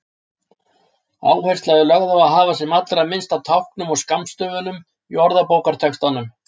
Áhersla er lögð á að hafa sem allra minnst af táknum og skammstöfunum í orðabókartextanum.